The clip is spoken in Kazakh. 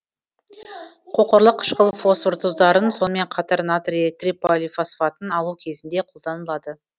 қоқырлы қышқыл фосфор тұздарын сонымен қатар натрий триполифосфатын алу кезінде қолданылады